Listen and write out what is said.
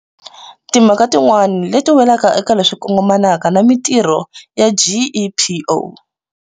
Timhaka tin'wana leti welaka eka leswi kongomanaka na mitirho ya GEPO.